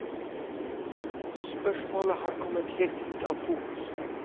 Spørsmålet har kommet helt ut av fokus.